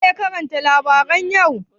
waye ya karanta labaran yau?